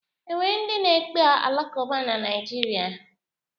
O nwere ndị na-ekpe Alakuba na Naịjirịa?